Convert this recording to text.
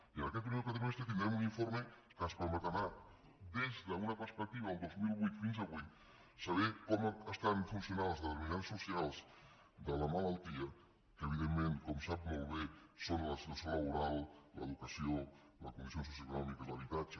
i en aquest primer quadrimestre tindrem un informe que ens permetrà des d’una perspectiva del dos mil vuit fins avui saber com estan funcionant els determinants socials de la malaltia que evidentment com sap molt bé són la situació laboral l’educació les condicions socioeconòmiques l’habitatge